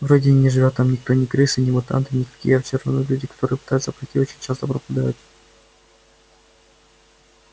вроде и не живёт там никто ни крысы ни мутанты никакие а все равно люди которые пытаются пройти очень часто пропадают